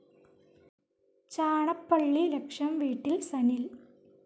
ചാണപ്പള്ളി ലക്ഷം വീട്ടിൽ സനിൽ